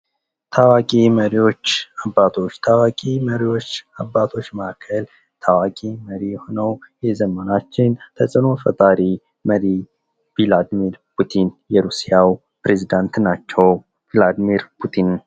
ታዋቂ መሪዎች አባቶች ከታዋቂ መሪዎችና አባቶች መካከል ታዋቂ መሪ የሆነዉ የዘመናችን ተጽዕኖ ፈጣሪ መሪ ቭላድሚር ፑቲን የሩሲያው ፕሬዚዳንት ናቸው። ቭላድሚር ፑቲን